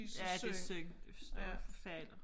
Ja det synd det står og forfalder